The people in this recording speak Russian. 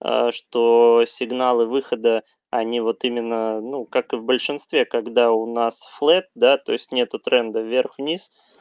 аа что сигналы выхода они вот именно ну как и в большинстве когда у нас флэт да то есть нету тренда вверх-вниз